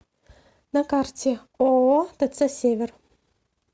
на карте ооо тц север